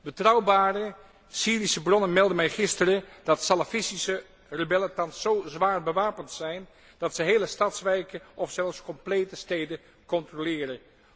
Betrouwbare Syrische bronnen meldden mij gisteren dat salafistische rebellen thans zo zwaar bewapend zijn, dat ze hele stadswijken of zelfs complete steden controleren.